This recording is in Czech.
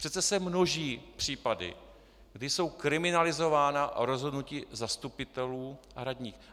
Přece se množí případy, kdy jsou kriminalizována rozhodnutí zastupitelů a radních.